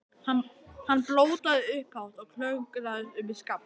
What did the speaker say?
Hann blótaði upphátt og klöngraðist upp í skafl.